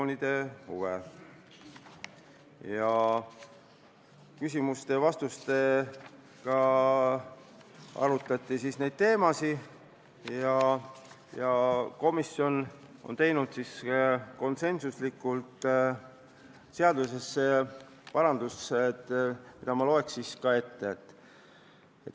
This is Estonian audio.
Neid teemasid arutati küsimuste-vastuste vormis ja komisjon tegi konsensuslikult eelnõusse parandused, mis ma loeksin ette.